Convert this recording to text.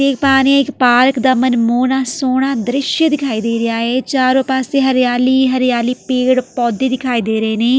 ਦੇਖ ਪਾ ਰਹੀ ਹਾਂ ਇੱਕ ਪਾਰਕ ਦਾ ਮਨਮੋਹਣਾ ਸੋਹਣਾ ਦ੍ਰਿਸ਼ ਦਿਖਾਈ ਦੇ ਰਿਹਾ ਏ ਚਾਰੋਂ ਪਾਸੇ ਹਰਿਆਲੀ ਹੀ ਹਰਿਆਲੀ ਪੇੜ੍ਹ ਪੋਦੇ ਦਿਖਾਈ ਦੇ ਰਹੇ ਨੇ।